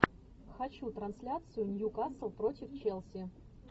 хочу трансляцию ньюкасл против челси